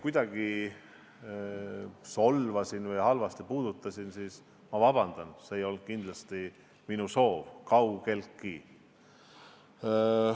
Kui ma teid, proua Pikhof, kuidagi solvasin, siis palun vabandust – see ei olnud kindlasti minu soov, kaugeltki mitte.